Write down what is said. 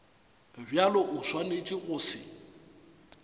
bjalo o swanetše go se